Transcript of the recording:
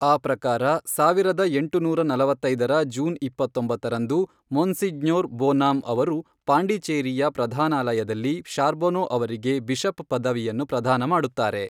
ಆ ಪ್ರಕಾರ ಸಾವಿರದ ಎಂಟುನೂರ ನಲವತ್ತೈದರ ಜೂನ್ ಇಪ್ಪತ್ತೊಂಬತ್ತರಂದು, ಮೊನ್ಸಿಜ್ಞೊರ್ ಬೊನಾಂ ಅವರು ಪಾಂಡಿಚೇರಿಯ ಪ್ರಧಾನಾಲಯದಲ್ಲಿ ಶಾರ್ಬೊನೊ ಅವರಿಗೆ ಬಿಷಪ್ ಪದವಿಯನ್ನು ಪ್ರದಾನ ಮಾಡುತ್ತಾರೆ.